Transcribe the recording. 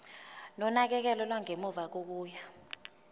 nonakekelo lwangemuva kokuya